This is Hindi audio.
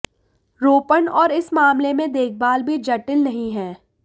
रोपण और इस मामले में देखभाल भी जटिल नहीं है